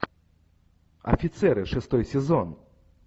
офицеры шестой сезон